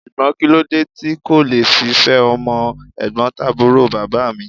Ṣùgbọ́n kíló dé tí n kò le fi fẹ́ ọmọ ẹ̀gbọ́ntàbúrò bàbá mi?